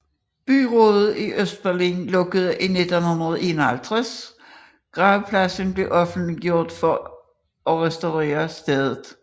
Byrådet i Østberlin lukkede i 1951 gravpladsen for offentligheden for at restaurere stedet